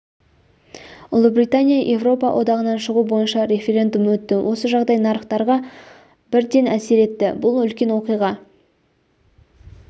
ұлыбритания еуропа одағынан шығу бойынша референдум өтті осы жағдай нарықтарға бірден әсер етті бұл үлкен оқиға